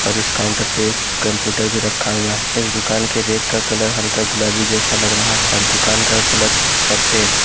और इस काउंटर पे कंप्यूटर भी रखा हुआ है इस दुकान के रेक का कलर हल्का गुलाबी जैसा लग रहा है और दुकान का कलर सफेद।